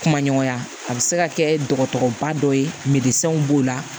Kuma ɲɔgɔnya a bi se ka kɛ dɔgɔtɔrɔba dɔ ye b'o la